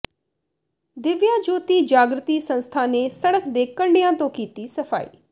ਦਿਵਿਆ ਜੋਤੀ ਜਾਗਿ੍ਤੀ ਸੰਸਥਾ ਨੇ ਸੜਕ ਦੇ ਕੰਿਢਆਂ ਤੋਂ ਕੀਤੀ ਸਫ਼ਾਈ